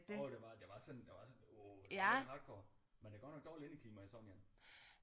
Jo det var det var sådan det var sådan wow rimelig hardcore men der er godt nok dårligt indeklima i sådan en